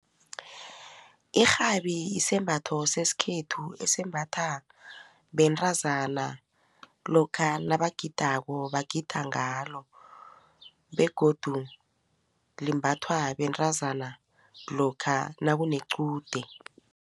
Irhabi isembatho sesikhethu esembatha bentazana lokha nabagidako bagida ngalo begodu limbathwa bentazana lokha nakunequde.